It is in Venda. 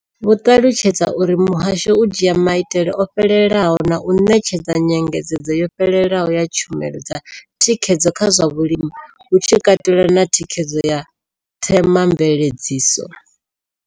Vho ṱalutshedza uri muhasho u dzhia maitele o fhelelaho na u ṋetshedza nyengedzedzo yo fhelelaho ya tshumelo dza thikhedzo kha zwa vhulimi, hu tshi katelwa na thikhedzo ya themamveledziso.